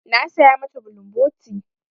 Na saya ma ta bulumboti.